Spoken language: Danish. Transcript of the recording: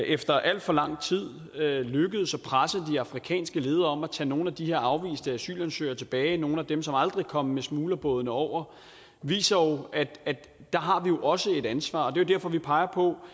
efter alt for lang tid er er lykkedes at presse de afrikanske ledere til at tage nogle af de afviste asylansøgere tilbage nogle af dem som aldrig kom med smuglerbådene over viser at der har vi også et ansvar det derfor vi peger på